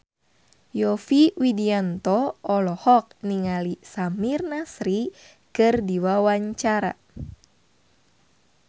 Yovie Widianto olohok ningali Samir Nasri keur diwawancara